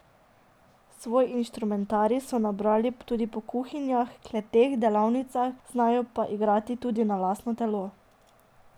Svoj inštrumentarij so nabrali tudi po kuhinjah, kleteh, delavnicah, znajo pa igrati tudi na lastno telo.